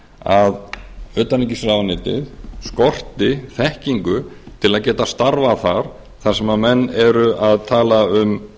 að utanríkisráðuneytið skorti þekkingu til að geta starfað þar þar sem menn eru að tala um